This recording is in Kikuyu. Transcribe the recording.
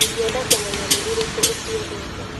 Ingĩenda kũmenya nĩ irĩkũ ũciendete.